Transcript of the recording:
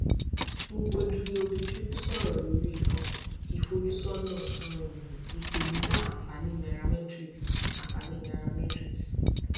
ugodre obichukwu sọrọ lórí um ìfojúsọnà um ìpèníjà àǹfààní nairametrics àǹfààní nairametrics